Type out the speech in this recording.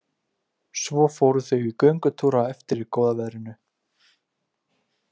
Svo fóru þau í göngutúr á eftir í góða veðrinu.